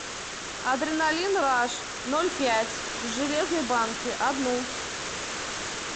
адреналин раш ноль пять в железной банке одну